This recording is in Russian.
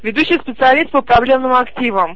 ведущий специалист по проблемам активам